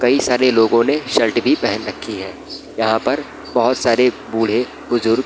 कई सारे लोगो ने शर्ट भी पेहेन रखी हैं यहाँ पर बहुत सारे बूढ़े-बुजुर्ग --